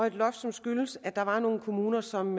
et loft der skyldes at der var nogle kommuner som